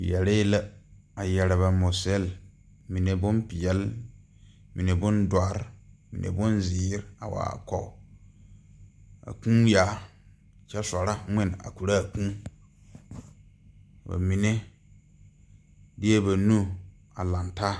Yɛree la a yɛre ba mosille mine bonpeɛle mine bon dɔre mine bonzeere a wa are kɔge a kūū yaa kyɛ sorɔ ngmen a korɔ aa kūū ba mine deɛ ba nu a laŋtaa.